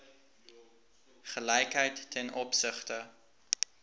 gelykheid ten opsigte